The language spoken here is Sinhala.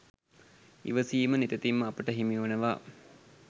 ඉවසීම නිතැතින්ම අපට හිමිවනවා